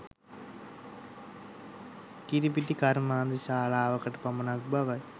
කිරි පිටි කර්මාන්තශාලාවකට පමණක් බවය